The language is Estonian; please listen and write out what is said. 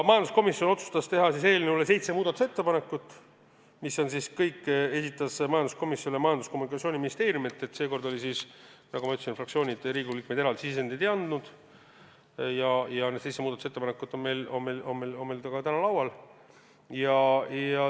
Majanduskomisjon otsustas teha eelnõu kohta seitse muudatusettepanekut, mis kõik esitas komisjonile Majandus- ja Kommunikatsiooniministeerium – seekord oli siis nii, nagu ma ütlesin, et fraktsioonid ja Riigikogu liikmed eraldi sisendeid ei andnud –, ning need seitse muudatusettepanekut on meil täna ka laual.